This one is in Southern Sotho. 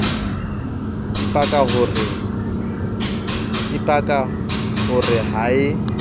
ipaka ho re ha e